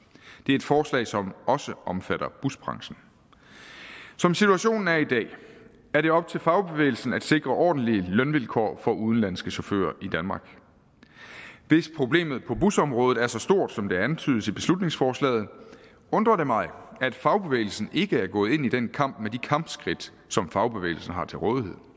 det er et forslag som også omfatter busbranchen som situationen er i dag er det op til fagbevægelsen at sikre ordentlige lønvilkår for udenlandske chauffører i danmark hvis problemet på busområdet er så stort som det antydes i beslutningsforslaget undrer det mig at fagbevægelsen ikke er gået ind i den kamp med de kampskridt som fagbevægelsen har til rådighed